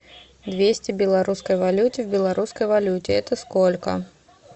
двести белорусской валюте в белорусской валюте это сколько